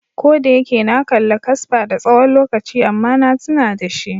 Ko da yake na kalla kasper da tsawon lokaci amma na tuna da shi.